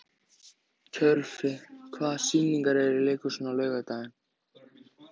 Tjörfi, hvaða sýningar eru í leikhúsinu á laugardaginn?